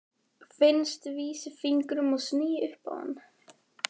Finn vísifingur og sný upp á hann.